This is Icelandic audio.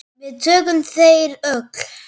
Við þökkum þér öll.